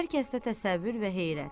Hər kəsdə təsəvvür və heyrət.